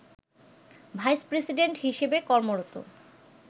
vice president হিসেবে কর্মরত